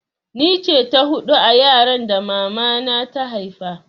Ni ce ta hudu a yaran da mama na ta haifa